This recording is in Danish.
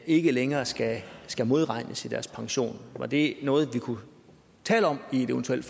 ikke længere skal skal modregnes i deres pension var det noget vi kunne tale om og eventuelt